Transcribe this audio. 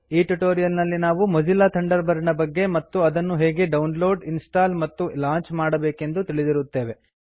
ಈ ಟ್ಯೂಟೋರಿಯಲ್ ನಲ್ಲಿ ನಾವು ಮೊಜಿಲ್ಲಾ ಥಂಡರ್ಬರ್ಡ್ ನ ಬಗ್ಗೆ ಮತ್ತು ಅದನ್ನು ಹೇಗೆ ಡೌನ್ಲೋಡ್ ಇನ್ಸ್ಟಾಲ್ ಮತ್ತು ಲಾಂಚ್ ಮಾಡಬೇಕೆಂದು ತಿಳಿದಿರುತ್ತೇವೆ